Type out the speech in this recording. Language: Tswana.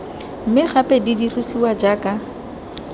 mme gape di dirisiwa jaaka